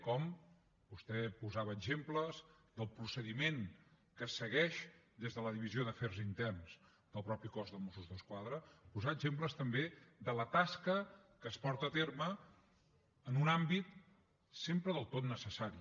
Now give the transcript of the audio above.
com vostè posava exemples del procediment que es segueix des de la divisió d’afers interns del mateix cos de mossos d’esquadra posar exemples també de la tasca que es porta a terme en un àmbit sempre del tot necessari